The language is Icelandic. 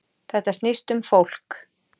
Þetta snýst um fólk